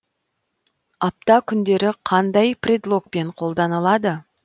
апта күндері қандай предлогпен қолданылады